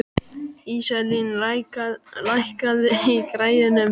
Íselín, lækkaðu í græjunum.